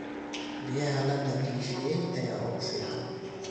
Biyaha la nadiifiyey ayaa ugu fiican.